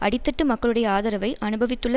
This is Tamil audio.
அடித்தட்டு மக்களுடைய ஆதரவை அனுபவித்துள்ள